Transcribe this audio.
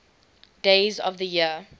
days of the year